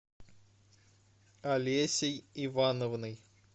олесей ивановной